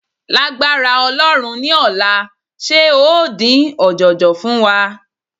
Lágbára Ọlọ́run ní ọ̀la, ṣe ó dín ọ̀jọ̀jọ̀ fún wa?